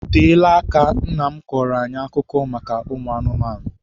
O teela aka nna m kọọrọ anyị akụkọ maka ụmụ anụmanụ.